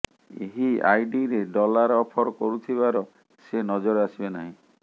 ଏହି ଆଇଡିରେ dollar offer କରୁଥିବାର ସେ ନଜର ଆସିବେ ନାହିଁ